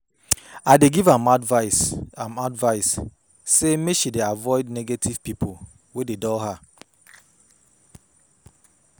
I give am advice am advice sey make she avoid negative pipo wey dey dull her.